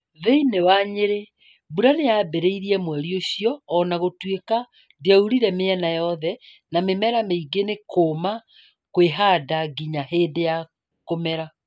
Thĩinĩ wa Nyeri mbura nĩ yambĩrĩirie mweri-inĩ ũcio o na gũtuĩka dĩaurire miena yothe na mĩmera mĩingĩ nĩ kuuma kwĩhanda nginya hĩndĩ ya kũmera.